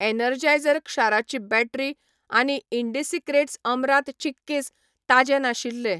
Energizer क्षाराची battery आनी ईंडीसिक्रेट्स अमरांत चिक्कीस ताजें नाशिल्ले.